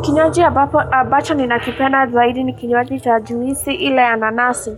Kinywaji ambacho ninakipenda zaidi ni kinywaji cha juisi ila ya nanasi.